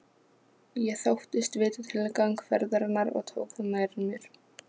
Ég þóttist vita tilgang ferðarinnar og tók það nærri mér.